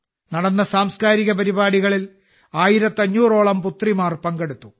നടന്ന സാംസ്കാരിക പരിപാടികളിൽ ആയിരത്തഞ്ഞൂറോളം പുത്രിമാർ പങ്കെടുത്തു